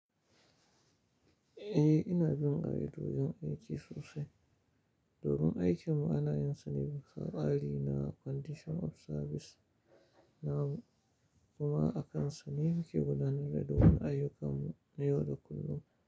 Eh, ina bin ka'idojin aiki sosai. Domin aikin mu ana yin sane bisa tsari na condition of service na mu, kuma akansa ne muke gudanar da dukan ayyukan mu na yau da kullum.